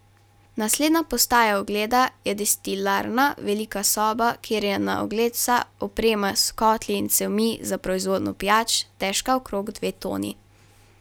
Naslednja postaja ogleda je destilarna, velika soba, kjer je na ogled vsa oprema s kotli in cevmi za proizvodnjo pijač, težka okrog dve toni.